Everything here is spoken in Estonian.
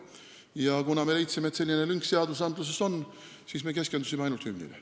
Ja kuna me leidsime sellise lünga meie seadustes, siis me keskendusime ainult hümnile.